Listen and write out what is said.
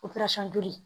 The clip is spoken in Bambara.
joli